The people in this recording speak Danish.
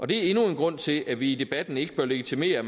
det er endnu en grund til at vi i debatten ikke bør legitimere